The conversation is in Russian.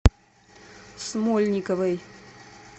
смольниковой